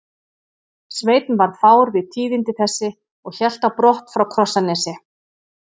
Sveinn varð fár við tíðindi þessi og hélt á brott frá Krossanesi.